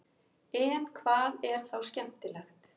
en hvað er þá skemmtilegt